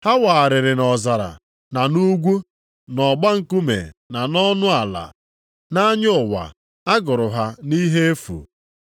Ha wagharịrị nʼọzara na nʼugwu, nʼọgba nkume na nʼọnụ ala. Nʼanya ụwa, a gụrụ ha nʼihe efu.